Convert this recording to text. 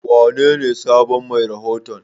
Wanene sabon mai rahoton?